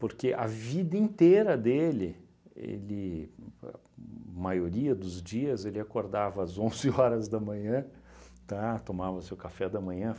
Porque a vida inteira dele, ele uhn maioria dos dias, ele acordava às onze horas da manhã, tá, tomava o seu café da manhã.